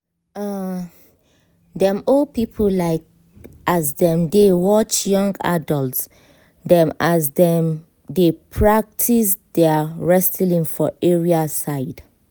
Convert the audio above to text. um dem old people like as dem dey watch young adults dem as dem dey practice their wrestling for area side